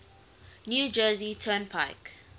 new jersey turnpike